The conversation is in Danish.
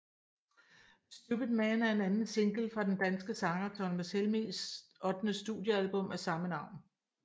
Stupid Man er anden single fra den danske sanger Thomas Helmigs ottende studiealbum af samme navn